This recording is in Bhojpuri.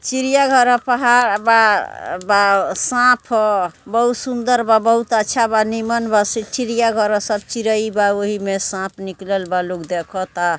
चिड़ियाघर है पहाड़ बा बा सांप हो बहुत सुंदर बा बहुत अच्छा बा निमन बा चिड़ियाघर है सब चिड़े बा ओहि में सांप निकलल बा लोग देखता।